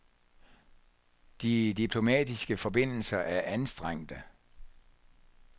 De diplomatiske forbindelser er anstrengte.